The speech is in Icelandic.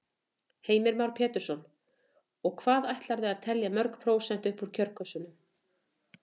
Heimir Már Pétursson: Og hvað ætlarðu að telja mörg prósent upp úr kjörkössunum?